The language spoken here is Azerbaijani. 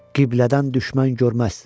Qiblədən düşmən görməz.